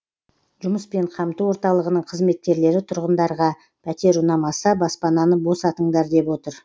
жұмыспен қамту орталығының қызметкерлері тұрғындарға пәтер ұнамаса баспананы босатыңдар деп отыр